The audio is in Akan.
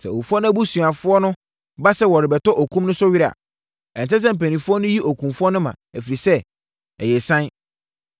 Sɛ owufoɔ no abusuafoɔ ba sɛ wɔrebɛtɔ okum no so were a, ɛnsɛ sɛ mpanimfoɔ no yi okumfoɔ no ma, ɛfiri sɛ, ɛyɛ ɛsiane.